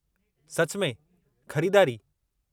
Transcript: सचु में? ख़रीदारी?